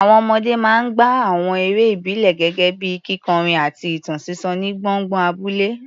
Àwọn ọmọdé máa ń gbá àwọn eré ìbílẹ̀ gẹ́gẹ́ bíi kíkọrin àti ìtàn sísọ ní gbọ̀ngàn abúlé.